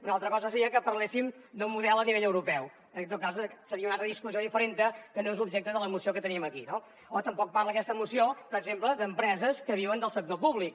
una altra cosa seria que parléssim d’un model a nivell europeu en tot cas seria una discussió diferent que no és l’objecte de la moció que tenim aquí no o tampoc parla aquesta moció per exemple d’empreses que viuen del sector públic